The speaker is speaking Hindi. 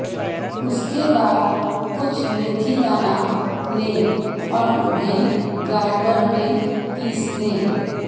उसके बाद कुछ मेथी दाना लें और उन्हें ग्राइंडर में पीस लें